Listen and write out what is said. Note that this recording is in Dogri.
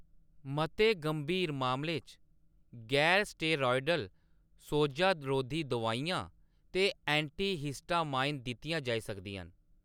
मते गंभीर मामलें च गैर स्टेरॉयडल सोजा-रोधी दोआइयां ते एंटीहिस्टामाइन दित्तियां जाई सकदियां न।